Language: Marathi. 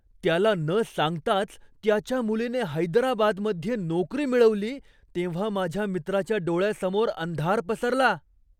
त्याला न सांगताच त्याच्या मुलीने हैदराबादमध्ये नोकरी मिळवली तेव्हा माझ्या मित्राच्या डोळ्यासमोर अंधार पसरला.